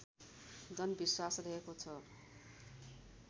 जनविश्वास रहेको छ